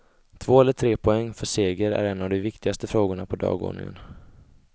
Två eller tre poäng för seger är en av de viktigaste frågorna på dagordningen.